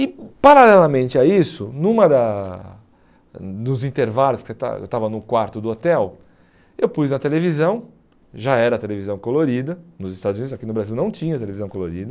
E paralelamente a isso, numa da nos intervalos que eu estava eu estava no quarto do hotel, eu pus na televisão, já era televisão colorida, nos Estados Unidos, aqui no Brasil não tinha televisão colorida,